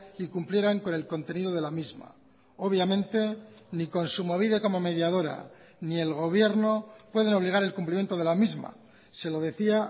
y cumplieran con el contenido de la misma obviamente ni kontsumobide como mediadora ni el gobierno pueden obligar el cumplimiento de la misma se lo decía